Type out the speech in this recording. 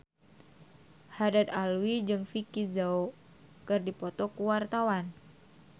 Haddad Alwi jeung Vicki Zao keur dipoto ku wartawan